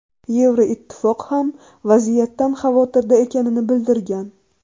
Yevroittifoq ham vaziyatdan xavotirda ekanini bildirgan.